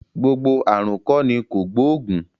Gbogbo ààrùn kọ́ ni kògbóògùn